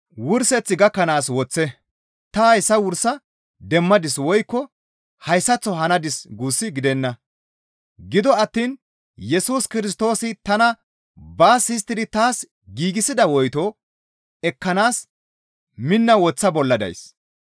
Ta hayssa wursa demmadis woykko hayssaththo hanadis guus gidenna; gido attiin Yesus Kirstoosi tana baas histtidi taas giigsida woyto ekkanaas minna woththa bolla days.